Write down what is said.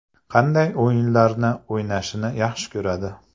Qanday o‘yinlarni o‘ynashni yaxshi ko‘radi?